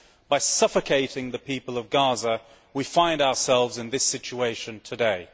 By suffocating the people of Gaza, we find ourselves in this situation today.